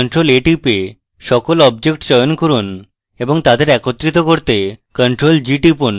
ctrl + a টিপে সকল objects চয়ন করুন এবং তাদের একত্রিত করতে ctrl + g টিপুন